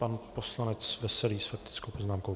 Pan poslanec Veselý s faktickou poznámkou.